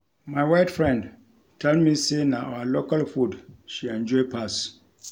My white friend tell me say na our local food she enjoy pass